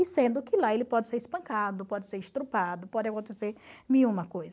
E sendo que lá ele pode ser espancado, pode ser pode acontecer mil e uma coisa.